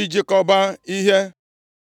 ịchịkọba ihe.